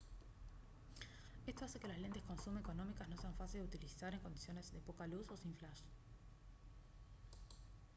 esto hace que las lentes con zoom económicas no sean fáciles de utilizar en condiciones de poca luz o sin flash